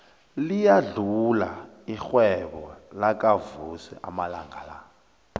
liyakhula irhwebo lakavusi amalanga la